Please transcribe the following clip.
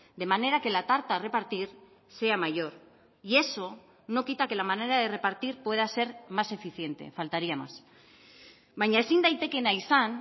de manera que la tarta a repartir sea mayor y eso no quita que la manera de repartir pueda ser más eficiente faltaría más baina ezin daitekeena izan